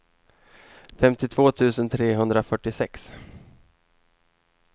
femtiotvå tusen trehundrafyrtiosex